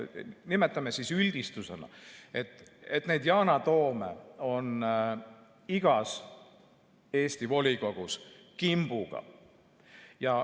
Nimetame siis üldistusena, et neid Yana Toome on igas Eesti volikogus kimbuga.